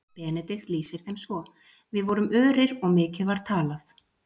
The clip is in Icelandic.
Benedikt lýsir þeim svo: Við vorum örir og mikið var talað.